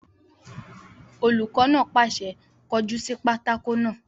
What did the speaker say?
Olùkọ́ náà pàṣẹ, "kọ jú sí pátákó náà!"